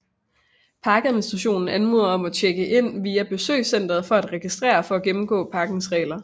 Parkadministrationen anmoder om at tjekke ind via besøgscentret for at registrere og for at gennemgå parkens regler